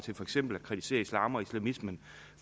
eksempel at kritisere islam og islamismen